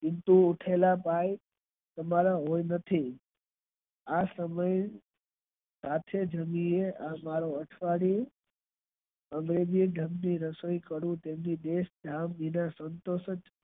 દિન થી ઉઠેલા હવે આ અમારા નથી અને થી જલ્દી english